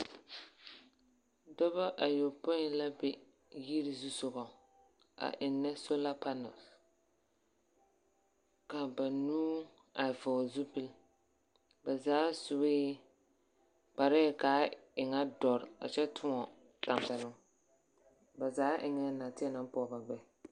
Dɔbɔ ayɔpõĩ la be yiri zusogɔŋ, a ennɛ sola panɛls. Ka banuu a vɔgle zupil, ba zaa sue, kparɛɛ kaa e ŋa dɔre a kyɛ tõɔ tampɛloŋ. Ba zaa eŋɛɛ nateɛ naŋ pɔge ba gbɛɛ.